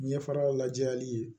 Ɲɛfara lajɛli ye